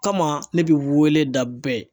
Kama ne bi wele da bɛɛ